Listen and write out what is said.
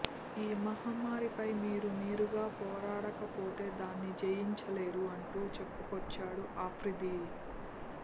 ఈ మహమ్మారిపై మీకు మీరుగా పోరాడకపోతే దాన్ని జయించలేరు అంటూ చెప్పుకొచ్చాడు ఆఫ్రిది